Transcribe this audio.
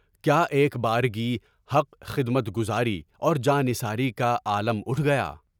کیا ایک بارگی حق خدمت گزاری اور جانثاری کا عالم اٹھ گیا؟